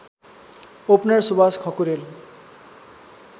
opener Suwas Khakurel